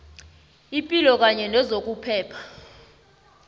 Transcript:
ipilo kanye nezokuphepha